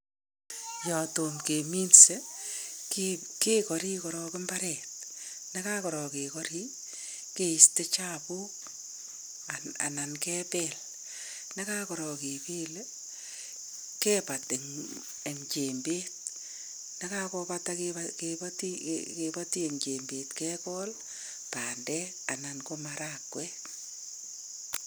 Yatom keminse kegori korok imbaret yekagorok kigori keiste chapuk. Anan kebel ye kagorok kebele kebat eng jembet ye kakopata kipati eng jembet kegool bandek anan ko marakwek.